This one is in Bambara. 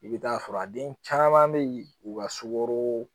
I bɛ taa sɔrɔ a den caman bɛ yen u ka sukaro